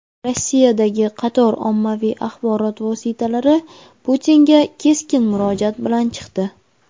Rossiyadagi qator ommaviy axborot vositalari Putinga keskin murojaat bilan chiqdi.